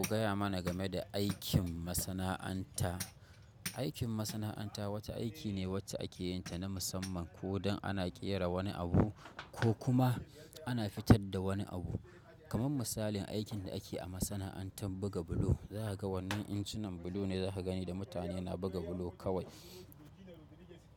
Ka gaya mana game da aikin masana'anta. Aikin masana'anta wata aiki ne wacce ake yin ta na musamman ko don ana ƙera wani abu ko kuma ana fitar da wani abu. Kaman misalin aikin da ake a masana'antar buga bulo. Za ka ga wannan injinan bulo ne za ka gani da mutane na buga bulo kawai.